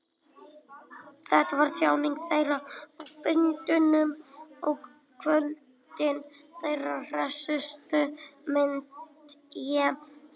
Þetta var tjáning þeirra, á fundunum á kvöldin, þeirra hressustu, myndi ég segja.